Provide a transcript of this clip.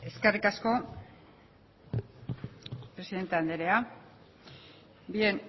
eskerrik asko presidente andrea bien